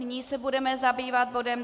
Nyní se budeme zabývat bodem